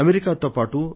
అమెరికాతో పాటు